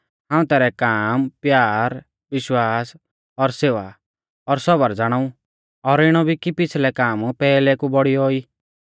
हाऊं तैरै काम प्यार विश्वास और सेवा और सौबर ज़ाणाऊ और इणौ भी कि पिछ़लै काम पैहलै कु बौड़ियौ ई